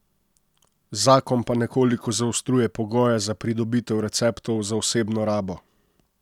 Zakon pa nekoliko zaostruje pogoje za pridobitev receptov za osebno rabo.